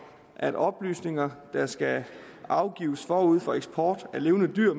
at oplysninger der skal afgives forud for eksport af levende dyr